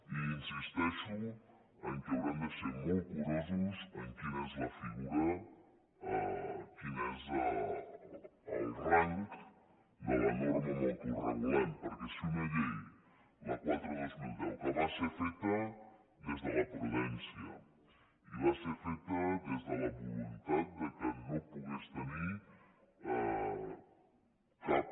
i insisteixo que haurem de ser molt curosos en quina és la figura quin és el rang de la norma amb què ho regulem perquè si una llei la quatre dos mil deu que va ser feta des de la prudència i va ser feta des de la voluntat que no pogués tenir cap